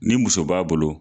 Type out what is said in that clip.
Ni muso b'a bolo